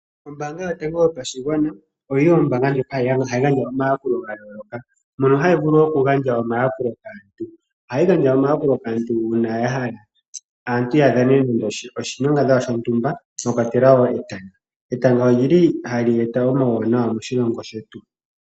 Ombaanga yotango yopashigwana oyo ombaanga ndjoka hayi gandja omayakulo ga yooloka. Mono hayi vulu okugandja omayakulo ngaashi okugandja omayakulo kaantu uuna ya hala ya dhane nande oshilongadhalwa shontumba mwa kwatelwa wo etanga. Etanga ohali eta omawunawa moshilongo shetu.